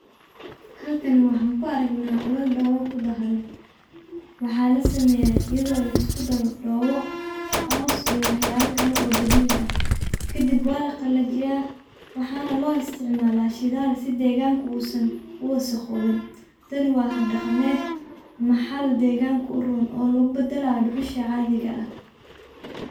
Halkaan waxaan kuu aragnaa ulaal doboo kuu daharaan. waxaa laa sameyaa iyadoo laiskuu daaro doboo, coows iyo wax yalaa kalee oo dabicii aah. kadiib walaa qalajiiya waxana loo isticmaala shidaal sii degaanka uusan uu wasaqowiin. taani waa haab dhaqaamed maxaali dheeganka uu roon oo laguu badalaayo dhuxuusha caadiga aah.